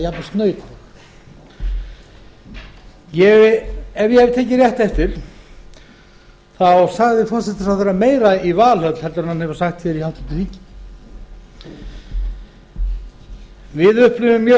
eða jafnvel snautleg ef ég hef tekið rétt eftir sagði forsætisráðherra fleira í valhöll um stefnu sína en hér á alþingi við upplifum mjög